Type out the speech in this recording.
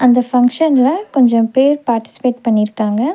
அந்த ஃபங்ஷன்ல கொஞ்சம் பேர் பார்டிசிபேட் பண்ணிருக்காங்க.